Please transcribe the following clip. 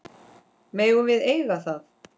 Megum við eiga það?